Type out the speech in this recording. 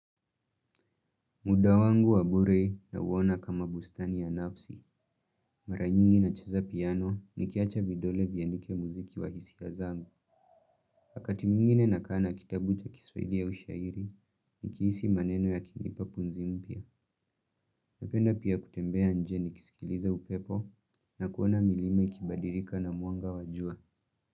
Muda wangu wabure nauona kama bustani ya nafsi. Mara nyingi nacheza piano nikiacha vidole viandike muziki wa hisia zangu wakati mwingine nakaa na kitabu cha kiswahili ya ushairi nikihisi maneno yakinipa pumzi mpya. Napenda pia kutembea nje nikisikiliza upepo na kuona milima ikabadilika na mwanga wa jua.